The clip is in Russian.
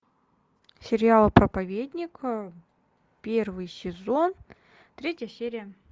сериал проповедник первый сезон третья серия